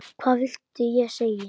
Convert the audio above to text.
Hvað viltu ég segi?